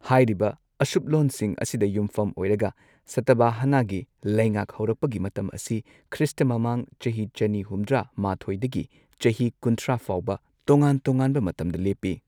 ꯍꯥꯏꯔꯤꯕ ꯑꯁꯨꯞꯂꯣꯟꯁꯤꯡ ꯑꯁꯤꯗ ꯌꯨꯝꯐꯝ ꯑꯣꯏꯔꯒ ꯁꯇꯚꯥꯍꯅꯥꯒꯤ ꯂꯩꯉꯥꯛ ꯍꯧꯔꯛꯄꯒꯤ ꯃꯇꯝ ꯑꯁꯤ ꯈ꯭ꯔꯤꯁꯇ ꯃꯃꯥꯡ ꯆꯍꯤ ꯆꯅꯤ ꯍꯨꯝꯗ꯭ꯔꯥ ꯃꯥꯊꯣꯏꯗꯒꯤ ꯆꯍꯤ ꯀꯨꯟꯊ꯭ꯔꯥ ꯐꯥꯎꯕ ꯇꯣꯉꯥꯟ ꯇꯣꯉꯥꯟꯕ ꯃꯇꯝꯗ ꯂꯦꯞꯄꯤ꯫